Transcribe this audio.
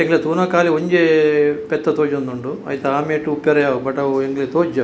ಎಂಕ್ಲೆ ತೂನಗ ಕಾಲಿ ಒಂಜೇ ಪೆತ್ತ ತೋಜೊಂದುಂಡು ಐತ ಆ ಮೈಟ್ ಇಪ್ಪರೆ ಯಾವ್ ಪಂಡ ಅವು ಎಂಕ್ಲೆ ತೋಜುಜಿ ಅವು.